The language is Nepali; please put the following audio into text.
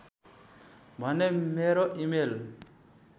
भने मेरो इमेल